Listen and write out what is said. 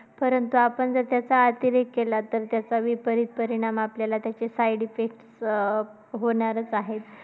कारण का आपण जर त्याचा अतिरेक केला, तर विपरीत परिणाम त्याचे आपल्याला side effects अं होणारच आहेत.